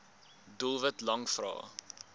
doelwit lang vrae